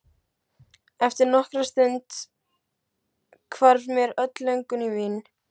Eftir nokkra stund hvarf mér öll löngun í vín.